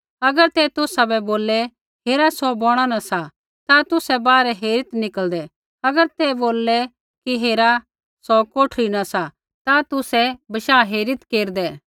अगर ते तुसाबै बोललै हेरा सौ बौणा न सा ता तुसै बाहरै हेरीत् निकल़दै अगर ते बोललै कि हेरा सौ कोठरी न सा ता तुसै बशाह हेरीत् केरदै